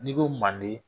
N'i ko manden